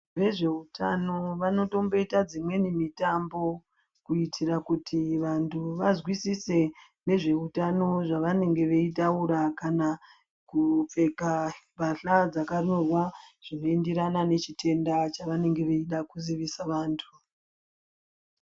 Vezve utano vano tomboita dzimweni mutambo kuitira kuti vantu vazwisise nezveutano zvavanenge veitaura kana kupfeka mbasha dzakanyorwa zvino enderana nechitenda chava nenge veida kuzivisa vantu .